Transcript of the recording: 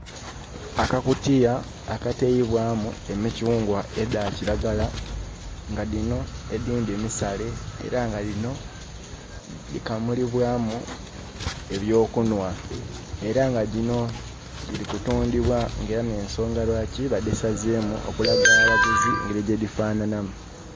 Akakutiya akaterebwamu emikyungwa edha kiragala nga dhino edhindhi misale era nga dhikamulibwamu ebyokunwa era nga dhino dhiri kutundhibwa era nensonga lwaki badhisazemu okulaga abaguzi ngeri yedhi fanhanhamu.